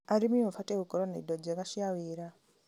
Arĩmi mabatiĩ gũkorwo na indo njega cia wĩra.